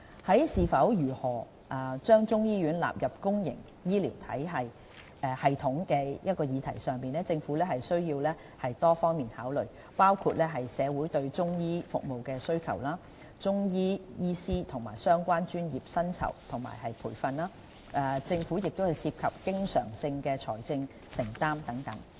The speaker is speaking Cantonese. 在是否及如何將中醫藥納入公營醫療系統的議題上，政府需作多方面的考慮，包括社會對中醫服務的需求、中醫師及相關專業的薪酬及培訓、政府涉及的經常性財政承擔等。